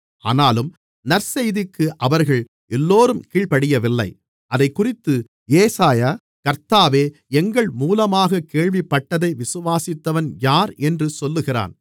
ஆனாலும் நற்செய்திக்கு அவர்கள் எல்லோரும் கீழ்ப்படியவில்லை அதைக்குறித்து ஏசாயா கர்த்தாவே எங்கள் மூலமாகக் கேள்விப்பட்டதை விசுவாசித்தவன் யார் என்று சொல்லுகிறான்